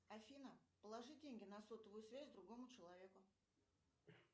афина положи деньги на сотовую связь другому человеку